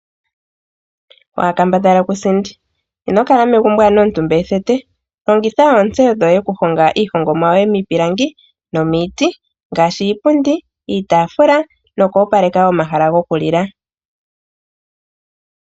Waakambadhala kusindi ,ino kala megumbo anuwa omutumba ethete longitha oontseyo dhoye okuhonga iihongomwa yoye miipilangi noomiti ngaashi ipundi ,iitafula noku opaleka omahala go ku lila.